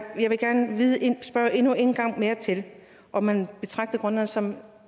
spørge endnu en gang om man betragter grønland som